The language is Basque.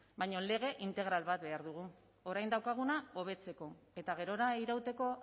baina lege integral bat behar dugu orain daukaguna hobetzeko eta gerora irauteko